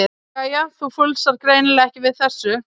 Jæja, þú fúlsar greinilega ekki við þessu.